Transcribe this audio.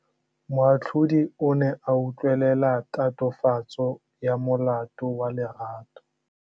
Moatlhodi o ne a utlwelela tatofatsô ya molato wa Lerato.